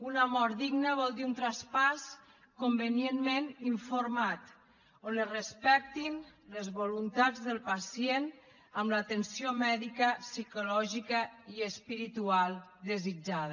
una mort digna vol dir un traspàs convenientment informat on es respectin les voluntats del pacient amb l’atenció mèdica psicològica i espiritual desitjada